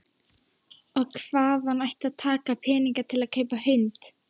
Og hvaðan ætti að taka peninga til að kaupa hund?